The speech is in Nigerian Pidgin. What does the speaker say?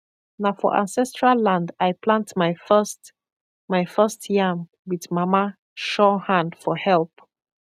na for ancestral land i plant my first my first yam with mama sure hand for help